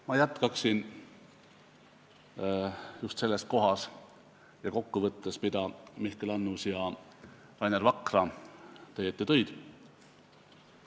Ma jätkan just samast kohast, võttes kokku, mida Mihkel Annus ja Rainer Vakra teie ette tõid.